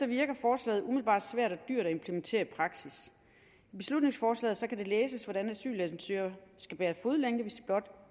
virker forslaget umiddelbart svært og dyrt at implementere i praksis i beslutningsforslaget kan det læses hvordan asylansøgere skal bære fodlænke hvis de blot